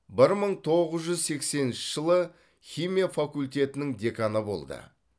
бір мың тоғыз жүз сексенінші жылы химия факультетінің деканы болды